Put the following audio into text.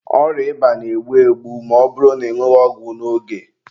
Ọrịa ịba na-egbu egbu ma ọ bụrụ na ị nwụghị ọgwụ n'oge.